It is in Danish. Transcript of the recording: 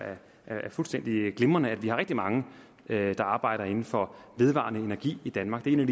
fuldstændig glimrende at vi har rigtig mange der arbejder inden for vedvarende energi i danmark det er